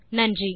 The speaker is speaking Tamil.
நன்றி